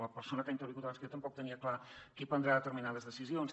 la persona que ha intervingut abans que jo tampoc tenia clar qui prendrà determinades decisions